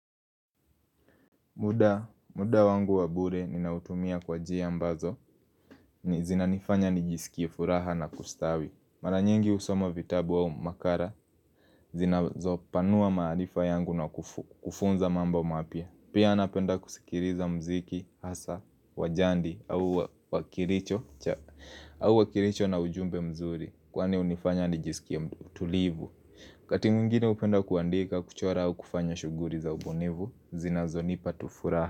Muda wangu wa bure ninautumia kwa jia ambazo ni zinanifanya nijisikie furaha na kustawi. Mara nyingi husoma vitabu au makara zinazopanua maalifa yangu na kufunza mambo mapya. Pia napenda kusikiriza mziki, hasa, wa jandi au wakiricho na ujumbe mzuri kwani hunifanya nijisikie utulivu. Wakati mwengine jupenda kuandika kuchora au kufanya shughuri za ubonivu, zinazonipa tu furaha.